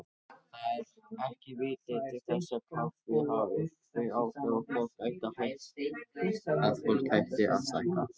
Það er ekki vitað til þess kaffi hafi þau áhrif að fólk hætti að stækka.